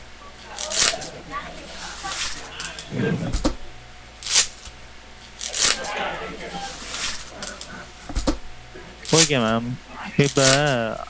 okay mam. இப்போ.